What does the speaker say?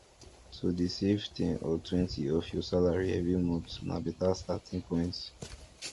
to dey save ten or twenty of your salary every month na better starting point